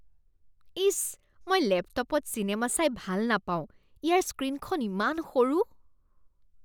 ইচ। মই লেপটপত চিনেমা চাই ভাল নাপাওঁ। ইয়াৰ স্ক্ৰীনখন ইমান সৰু।